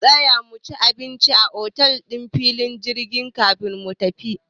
Za mu tsaya muci abinci a otel ɗin filin jirgin kafin mu tafi.